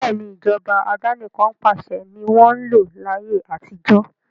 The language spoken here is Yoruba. Bẹ́ẹ̀ni, Ìjọba àdánikan pàṣẹ ni wọn ń lò láyé àtijó